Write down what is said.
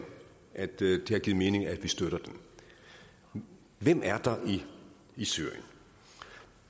at det har givet mening at vi støtter den hvem er der i syrien